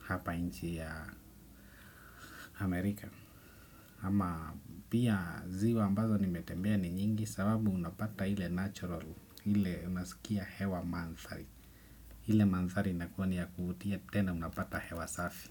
hapa nchi ya Amerika. Ama pia ziwa ambazo nimetembea ni nyingi. Sababu unapata ile natural, ile unasikia hewa mandhari. Hile mandhari inakuwa ni ya kuvutia tena unapata hewa safi.